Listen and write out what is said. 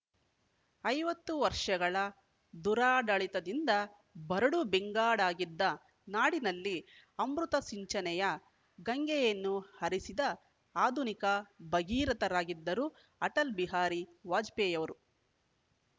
ಐವತ್ತು ವರ್ಷಗಳ ದುರಾಡಳಿತದಿಂದ ಬರಡು ಬೆಂಗಾಡಾಗಿದ್ದ ನಾಡಿನಲ್ಲಿ ಅಮೃತ ಸಿಂಚನೆಯ ಗಂಗೆಯನ್ನು ಹರಿಸಿದ ಆಧುನಿಕ ಭಗೀರಥರಾಗಿದ್ದರು ಅಟಲ ಬಿಹಾರಿ ವಾಜಪೇಯಿ ಅವರು